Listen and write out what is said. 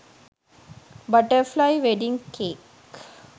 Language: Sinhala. butterfly wedding cake